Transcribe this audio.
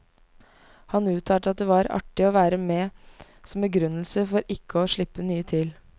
Han uttalte at det var artig å være med som begrunnelse for ikke å slippe nye til.